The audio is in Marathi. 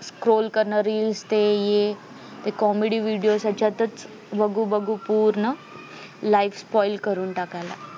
scroll करण reels ते हे ते comedy videos त्याच्या तच बगू बगू पूर्ण life spoil करून टाकायला